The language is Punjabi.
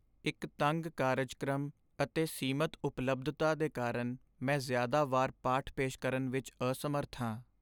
ਇੱਕ ਤੰਗ ਕਾਰਜਕ੍ਰਮ ਅਤੇ ਸੀਮਤ ਉਪਲੱਬਧਤਾ ਦੇ ਕਾਰਨ, ਮੈਂ ਜ਼ਿਆਦਾ ਵਾਰ ਪਾਠ ਪੇਸ਼ ਕਰਨ ਵਿੱਚ ਅਸਮਰੱਥ ਹਾਂ।